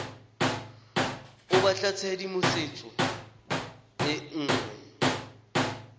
o batla tshedimosetso e nngwe